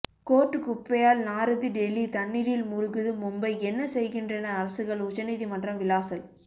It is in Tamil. கோர்ட் குப்பையால் நாறுது டில்லி தண்ணீரில் மூழ்குது மும்பை என்ன செய்கின்றன அரசுகள் உச்ச நீதிமன்றம் விளாசல்